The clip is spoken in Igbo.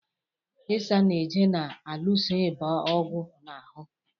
Isanaje na-alụso ịba ọgụ na ahụ.